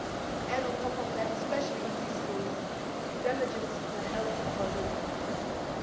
In addition, especially in this case, it damages the health of our European citizens.